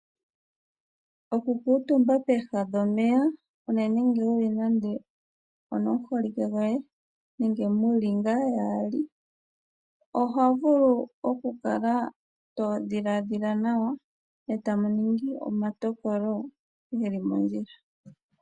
Okukuutumba pooha dhomeya unene ngele nande onomuholike goye, nenge muli ngaa yaali. Oho vulu okukala to dhiladhila nawa e tamu ningi omatokolo geli mondjila.